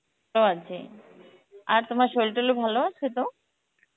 তো আছি, আর তোমার শরীর-টোরিল ভালো আছো তো?